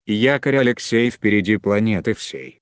якорь алексей впереди планеты всей